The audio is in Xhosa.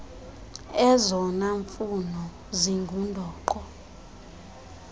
ezona mfuno zingundoqo